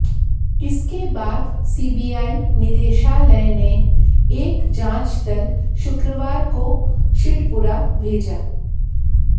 इसके बाद सीबीआई निदेशालय ने एक जांच दल शुक्रवार को सिढ़पुरा भेजा